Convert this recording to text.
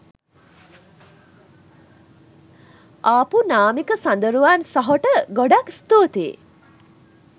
ආපු නාමික සඳරුවන් සහොට ගොඩක් ස්තුතියි